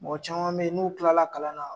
Mɔgɔ caman be ye n'u kilala kalan na